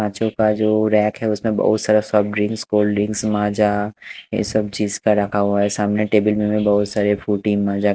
आजू बाजू रैक है उसमें बहुत सारा सब ड्रिंक कोल्ड ड्रिंक माजा ये सब चीज का रखा हुआ है सामने टेबल में बहुत सारा फ्रूटी माजा --